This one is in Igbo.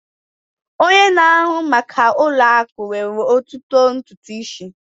Onye na-ahụ maka ụlọ akụ nwere ototu ntutu isi